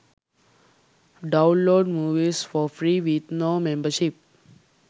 download movies for free with no membership